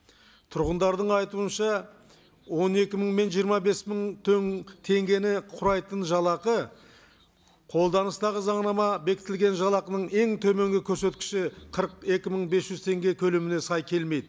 тұрғындардың айтуынша он екі мың мен жиырма бес мың теңгені құрайтын жалақы қолданыстағы заңамада бекітілген жалықының ең төменгі көрсеткіші қырық екі мың бес жүз теңге көлеміне сай келмейді